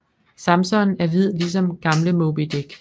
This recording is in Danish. Samson er hvid ligesom gamle Moby Dick